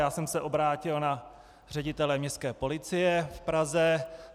Já jsem se obrátil na ředitele Městské policie v Praze.